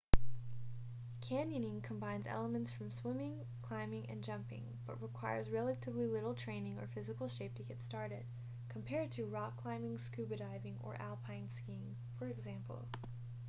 canyoning combines elements from swimming climbing and jumping--but requires relatively little training or physical shape to get started compared to rock climbing scuba diving or alpine skiing for example